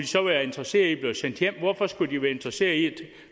så være interesseret i at blive sendt hjem hvorfor skulle de så være interesseret at